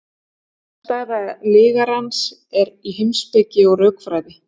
þverstæða lygarans er í heimspeki og rökfræði